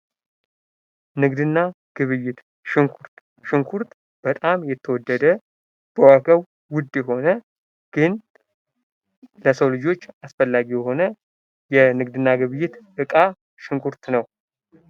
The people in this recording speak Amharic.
ንግድና ግብይት ሽንኩርት በጣም የተወደደ በዋጋው ውድ የሆነ ግን ለሰው ልጆች አስፈላጊ የሆነ የንግድና ግብይት ዕቃ ሽንኩርት ነው።